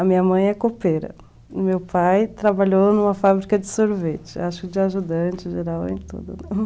A minha mãe é copeira, meu pai trabalhou numa fábrica de sorvete, acho que de ajudante geral e tudo.